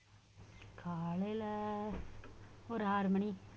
காலையில ஒரு ஆறு மணி